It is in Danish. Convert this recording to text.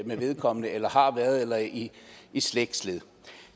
med vedkommende eller har været eller i slægtled